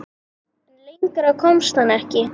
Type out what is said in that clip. En lengra komst hann ekki.